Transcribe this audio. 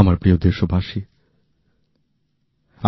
আমার প্রিয় দেশবাসী